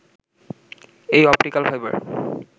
এই optical fibre